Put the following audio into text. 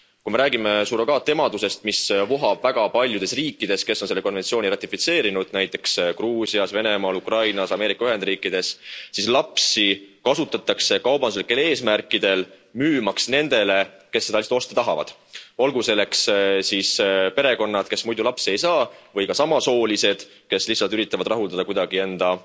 Kui me räägime surrogaatemadusest, mis vohab väga paljudes riikides, kes on selle konventsiooni ratifitseerinud, näiteks Gruusias, Venemaal, Ukrainas, Ameerika Ühendriikides, siis lapsi kasutatakse kaubanduslikel eesmärkidel müümaks nendele, kes seda last osta tahavad. Olgu selleks siis perekonnad, kes muidu lapsi ei saa, või ka samasoolised, kes lihtsalt üritavad rahuldada kuidagi enda